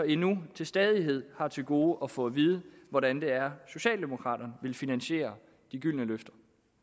endnu stadig har til gode at få at vide hvordan det er socialdemokraterne vil finansiere de gyldne løfter